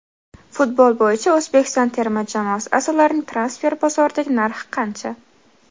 Futbol bo‘yicha O‘zbekiston termasi a’zolarining transfer bozoridagi narxi qancha?.